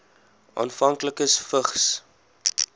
afhanklikes vigs